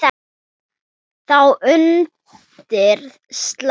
Þá undir slá.